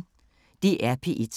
DR P1